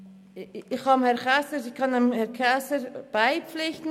Ich kann Regierungsrat Käser beipflichten.